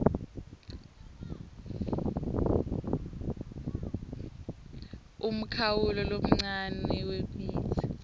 umkhawulo lomncane wemitsi